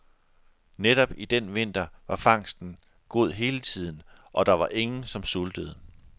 Netop i den vinter var fangsten god hele tiden, og der var ingen som sultede.